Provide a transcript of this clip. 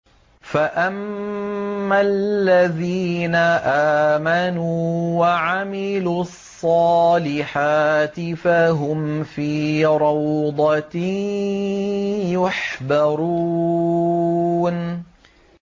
فَأَمَّا الَّذِينَ آمَنُوا وَعَمِلُوا الصَّالِحَاتِ فَهُمْ فِي رَوْضَةٍ يُحْبَرُونَ